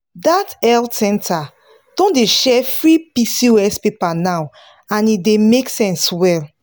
that health center don dey share free pcos paper now and e make sense well.